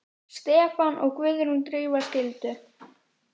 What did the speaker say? Stefán og Guðrún Drífa skildu.